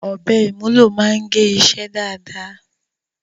Ọ̀bẹ ìmúlò máa ń gé iṣẹ́ dáadáa.